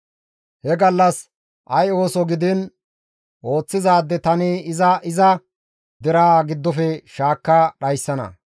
He gallas ay ooso gidiin ooththizaade tani iza iza deraa giddofe shaakka dhayssana;